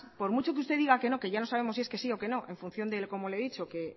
por mucho que usted diga que no que ya no sabemos si es que sí o que no en función de cómo le he dicho que